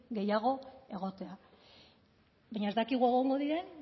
gehiago egotea baina ez dakigu egongo diren